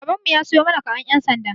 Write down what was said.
Baban mu ya siyo mana karen ƴan sanda.